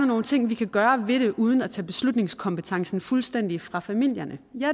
nogle ting vi kan gøre ved det uden at tage beslutningskompetencen fuldstændig fra familierne ja